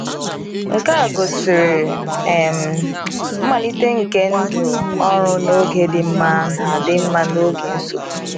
Nke a gosiri um mmalite nke ndụ ọrụ n’oge dị mma na dị mma na n’oge nsogbu.